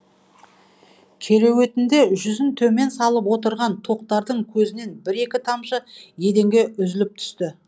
кереуетінде жүзін төмен салып отырған тоқтардың көзінен бір екі тамшы еденге үзіліп түсті